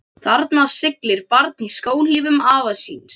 Þarna siglir barn í skóhlífum afa síns.